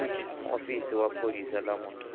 muofisi wa pholisa ḽa munna